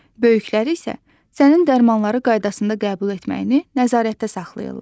Böyükləri isə sənin dərmanları qaydasında qəbul etməyini nəzarətdə saxlayırlar.